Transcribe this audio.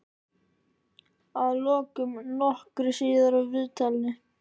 Að lokum, nokkru síðar úr viðtalinu.